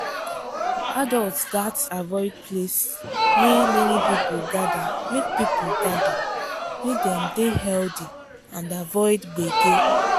adults gats avoid place wey many people gather make people gather make dem dey healthy and avoid gbege.